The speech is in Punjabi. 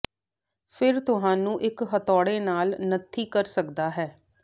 ਫਿਰ ਤੁਹਾਨੂੰ ਇੱਕ ਹਥੌੜੇ ਨਾਲ ਨੱਥੀ ਕਰ ਸਕਦਾ ਹੈ